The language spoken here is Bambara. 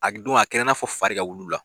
A don a kɛra n'a fɔ fari wulu la